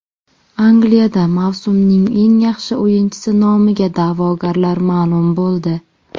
Angliyada mavsumning eng yaxshi o‘yinchisi nomiga da’vogarlar ma’lum bo‘ldi.